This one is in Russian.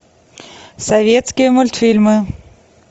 советские мультфильмы